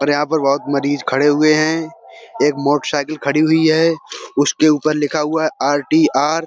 और यहाँ पर बहुत मरीज खड़े हुए हैं। एक मोटर साइकिल खड़ी हुई है। उसके ऊपर लिखा हुआ है। आर.टी.आर --